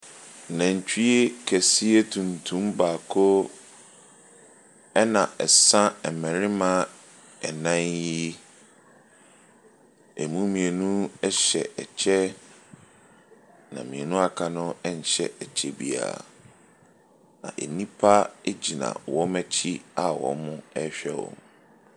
Nantwie kɛsrɛ tuntum baako na ɛsa mmarima nnan yi . Ɛmu mmienu hyɛ kyɛ, na mmienu a aka no nhyɛ kyɛ biara. Na nnipa gyina wɔn akyi a wɔrehwɛ wɔn.